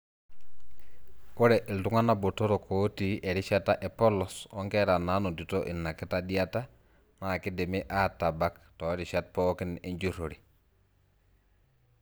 Ore iltungana botorok otii erishata epolos onkera nanotito ina kitadiata na kindimi atabaka torishat pooki enjurore.